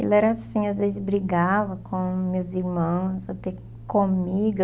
Ele era assim, às vezes brigava com meus irmãos, até comigo.